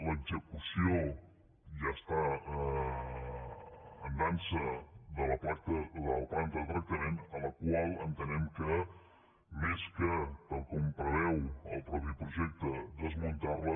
l’execució ja està en dansa de la planta de tractament la qual entenem que més que tal com preveu el mateix projecte desmuntar la